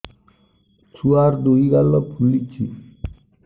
ଛୁଆର୍ ଦୁଇ ଗାଲ ଫୁଲିଚି